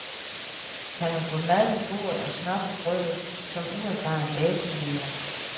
Kan man få mad på bordet og smør på brødet som uerfaren datojæger?